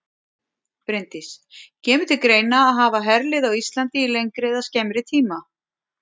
Bryndís: Kemur til greina að hafa herlið á Íslandi í lengri eða skemmri tíma?